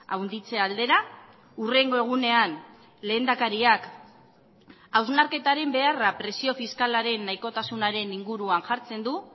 handitze aldera hurrengo egunean lehendakariak hausnarketaren beharra presio fiskalaren nahikotasunaren inguruan jartzen du